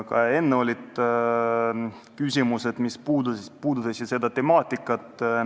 Ka varem esitati küsimusi, mis puudutasid seda teemat.